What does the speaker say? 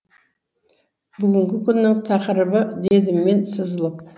бүгінгі күннің тақырыбы дедім мен сызылып